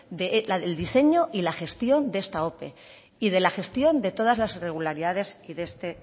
del diseño y la gestión de esta ope y de la gestión de todas las irregularidades de este